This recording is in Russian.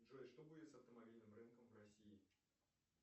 джой что будет с автомобильным рынком в россии